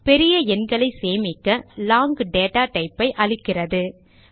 பெரிய எண்களை சேமிக்க ஜாவா லாங் டேட்டா type ஐ அளிக்கிறது